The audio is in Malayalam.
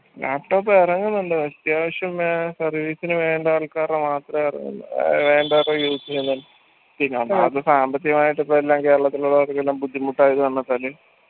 laptop എറങ്ങുന്നുണ്ട് അത്യാവശ്യം വേ service ന് വേണ്ട ആൾക്കാരെ മാത്രേ എറങ്ങുന്നു android use എയ്യുന്നുള്ളു സാമ്പത്തികമായിട്ട് ഇപ്പൊ എല്ലാം കേരളത്തിലുള്ളവർക്കെല്ലാം ബുദ്ധിമുട്ടായ കാരണം വെച്ചാൽ